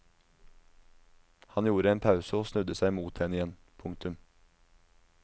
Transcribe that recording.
Han gjorde en pause og snudde seg mot henne igjen. punktum